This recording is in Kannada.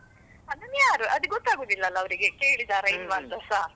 ಅದನ್ನ ಯಾರ್ ಅದ್ ಗೊತ್ತಾಗುದಿಲ್ಲಲ್ಲಾ ಅವರಿಗೆ ಕೇಳಿದಾರ ಇಲ್ವಾ ಅಂತ ಸಾ.